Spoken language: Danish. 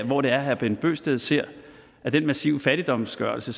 hvor det er herre bent bøgsted ser at den massive fattigdomsgørelse